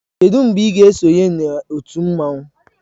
Kedu mgbe ị ga-esonye na otu mmanwu?